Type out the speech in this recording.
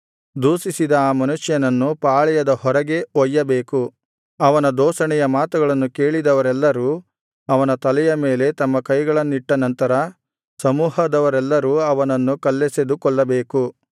ದೂಷಿಸಿದ ಆ ಮನುಷ್ಯನನ್ನು ಪಾಳೆಯದ ಹೊರಗೆ ಒಯ್ಯಬೇಕು ಅವನ ದೂಷಣೆಯ ಮಾತುಗಳನ್ನು ಕೇಳಿದವರೆಲ್ಲರೂ ಅವನ ತಲೆಯ ಮೇಲೆ ತಮ್ಮ ಕೈಗಳನ್ನಿಟ್ಟನಂತರ ಸಮೂಹದವರೆಲ್ಲರೂ ಅವನನ್ನು ಕಲ್ಲೆಸೆದು ಕೊಲ್ಲಬೇಕು